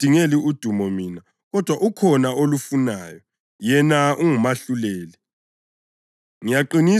Kangizidingeli udumo mina kodwa ukhona olufunayo, yena ungumahluleli.